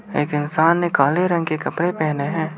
एक इंसान ने काले रंग के कपड़े पहने हैं।